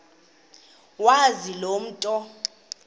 wazi loo nto